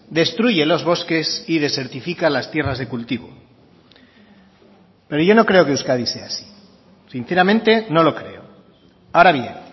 destruye los bosques y desertifica las tierras de cultivo pero yo no creo que euskadi sea así sinceramente no lo creo ahora bien